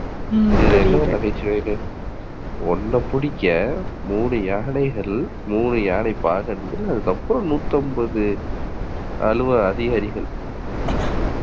இதுல இன்னொரு நகைச்சுவை. ஒன்ன பிடிக்க மூணு யானைகள், மூணு யானை பாகன்கள், நூத்தி அம்பது அலுவலக அதிகாரிகள்